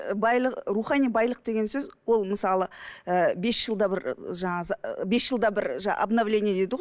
ы рухани байлық деген сөз ол мысалы ы бес жылда бір ы жаңа ы бес жылда бір обновление дейді ғой